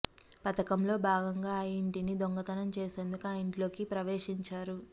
పధకంలో భాగంగా ఆ యింటిని దొంతనం చేసేందుకు ఆ ఇంట్లోకి ప్రవేశించారు